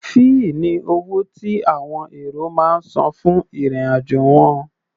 Fẹ́ẹ̀ ni owó tí àwọn èrò máa ń san fún ìrìn-àjò wọn.